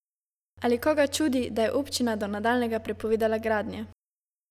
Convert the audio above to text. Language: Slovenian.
Ali koga čudi, da je občina do nadaljnjega prepovedala gradnje?